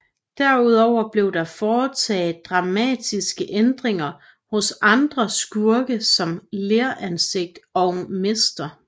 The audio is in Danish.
Derudover blev der foretaget dramatiske ændringer hos andre skurke som Leransigt og Mr